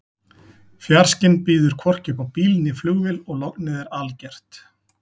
Fjarskinn býður hvorki upp á bíl né flugvél og lognið er algert.